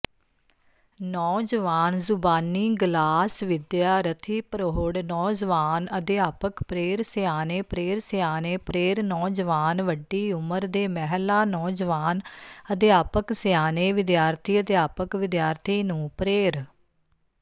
ਨੌਜਵਾਨਜ਼ੁਬਾਨੀਗਲਾਸਵਿਦਿਆਰਥੀਪ੍ਰੋੜ੍ਹ ਨੌਜਵਾਨਅਧਿਆਪਕ ਪ੍ਰੇਰਸਿਆਣੇ ਪ੍ਰੇਰਸਿਆਣੇ ਪ੍ਰੇਰ ਨੌਜਵਾਨਵੱਡੀ ਉਮਰ ਦੇ ਮਹਿਲਾਨੌਜਵਾਨ ਅਧਿਆਪਕਸਿਆਣੇ ਵਿਦਿਆਰਥੀਅਧਿਆਪਕ ਵਿਦਿਆਰਥੀ ਨੂੰ ਪ੍ਰੇਰ